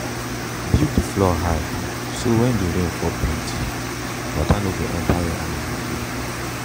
build the floor high so when dey rain fall plenty water no go enter where animal dey.